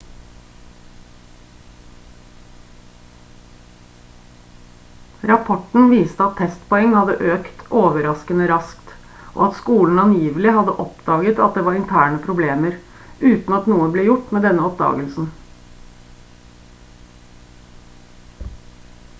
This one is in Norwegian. rapporten viste at testpoeng hadde økt overraskende raskt og at skolen angivelig hadde oppdaget at det var interne problemer uten at noe ble gjort med denne oppdagelsen